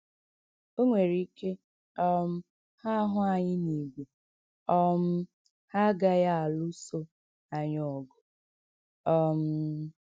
O nwere ike um ha hụ anyị n’ìgwè um ha agaghị alụso anyị ọgụ. ” um